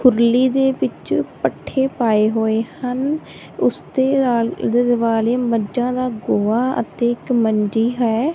ਕੁਰਲੀ ਦੇ ਵਿੱਚ ਪੱਠੇ ਪਾਏ ਹੋਏ ਹਨ ਓਸਦੇ ਆਲੇ ਦੁਆਲੇ ਮੱਝਾਂ ਦਾਂ ਗੋਹਾ ਅਤੇ ਇੱਕ ਮੰਜੀ ਹੈ।